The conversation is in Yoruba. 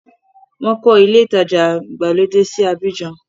Wọ́n kọ́ ilé-ìtajà ìgbàlódé sí Abidjan.